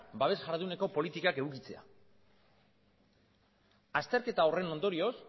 babes jarduneko politikak edukitzea azterketa horren ondorioz